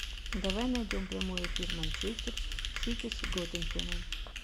давай найдем прямой эфир манчестер сити с тоттенхэмом